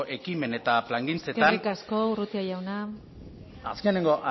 ekimen eta plangintzetan eskerrik asko urrutia jauna azkenengo